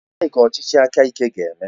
Gịnị ka ọchịchị aka ike ga-eme?